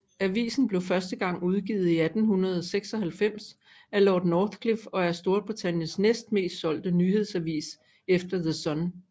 Avisen blev første gang udgivet i 1896 af Lord Northcliffe og er Storbritanniens næst mest solgte nyhedsavis efter The Sun